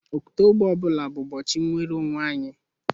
Ọktoba mbụ ọ bụla bụ ụbọchị nnwere onwe anyị